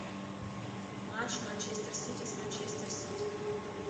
матч манчестер сити с манчестер сити